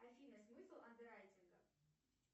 афина смысл андеррайтинга